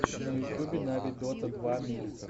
на ютубе нави дота два микс